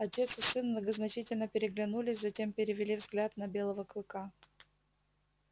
отец и сын многозначительно переглянулись затем перевели взгляд на белого клыка